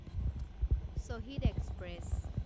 Shahid express